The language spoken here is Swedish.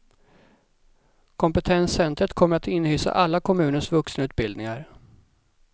Kompetenscentret kommer att inhysa alla kommunens vuxenutbildningar.